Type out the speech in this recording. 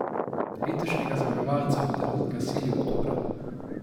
Letošnjega zmagovalca bodo razglasili oktobra.